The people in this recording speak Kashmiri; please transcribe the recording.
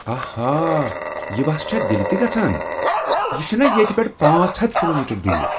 آہا! یہ بَس چھا دلہ تہ گژھان؟ یہ چھنا ییٚتہ پٮ۪ٹھٕ پانژھ ہتھَ کلومیٹر دور؟